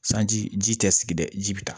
Sanji ji tɛ sigi dɛ ji bi taa